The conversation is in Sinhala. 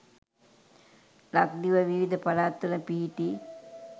ලක්දිව විවිධ පළාත්වල පිහිටි